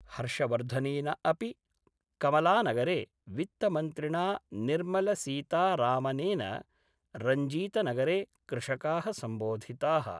हर्षवर्धनेन अपि कमलानगरे, वित्तमन्त्रिणा निर्मलसीतारामनेन रंजीतनगरे, कृषकाः सम्बोधिताः